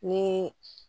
Ni